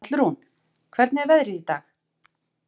Hallrún, hvernig er veðrið í dag?